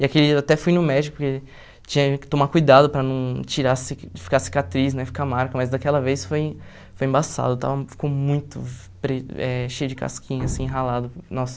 E aquele, eu até fui no médico, porque tinha que tomar cuidado para não tirar ci, ficar cicatriz, né, ficar marca, mas daquela vez foi foi embaçado, estava ficou muito pre eh cheio de casquinha, assim, ralado, nossa.